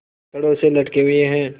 छड़ों से लटके हुए हैं